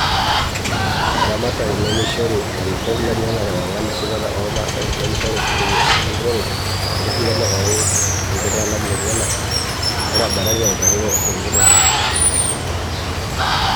Eramatare nimeishoru larikoko lenyanak ewangan esipata o masaa neimishoru sininye eripore enkariyiano oo ltunganak lenyanak netabatatate aiteru te nkiteru.